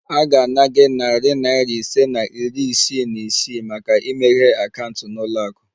A ga-ana gị narị naira ise na iri isii na isii maka imeghe akaụntụ na ụlọ akụ